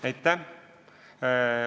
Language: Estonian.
Aitäh!